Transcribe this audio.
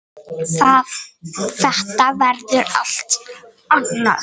Þetta verður allt annað.